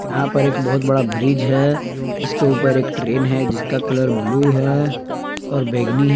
यहां पर एक बहुत बड़ा ब्रिज है इसके ऊपर एक ट्रेन है जिसका कलर ब्लू है और बैगनी है।